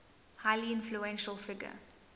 highly influential figure